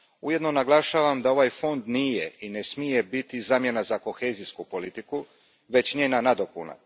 Ujedno naglašavam da ovaj fond nije i ne smije biti zamjena za kohezijsku politiku već njena nadopuna.